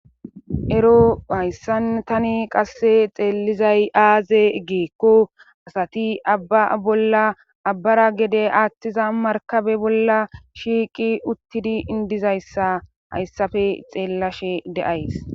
ero hayssan tani qasse xeellizay aaze giikko asati abba bolla abbara gede aathtiza markabe bolla shiiqi uttidi dizayssa hayssafe xeellashe de7ays